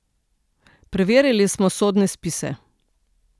Preverili smo sodne spise.